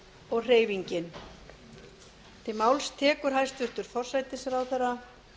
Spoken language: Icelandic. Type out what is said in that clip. og hreyfingin til máls tekur hæstvirtur forsætisráðherra